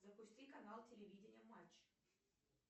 запусти канал телевидения матч